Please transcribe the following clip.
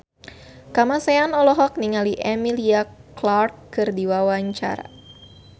Kamasean olohok ningali Emilia Clarke keur diwawancara